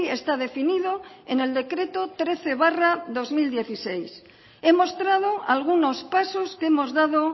está definido en el decreto trece barra dos mil dieciséis he mostrado algunos pasos que hemos dado